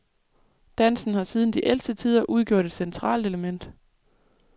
Dansen har siden de ældste tider udgjort et centralt element.